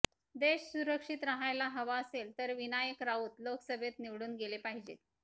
देश सुरक्षित राहायला हवा असेल तर विनायक राऊत लोकसभेत निवडून गेले पाहिजेत